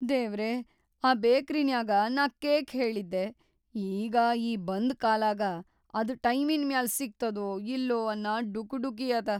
ದೇವ್ರೇ, ಆ ಬೇಕರಿನ್ಯಾಗ ನಾ ಕೇಕ್‌ ಹೇಳಿದ್ದೆ‌, ಈಗ ಈ ಬಂದ್‌ ಕಾಲಾಗ ಅದ್‌ ಟೈಮಿನ್‌ ಮ್ಯಾಲ್‌ ಸಿಗ್ತದೊ ಇಲ್ಲೊ ಅನ್ನ ಡುಕುಡುಕಿ ಅದ.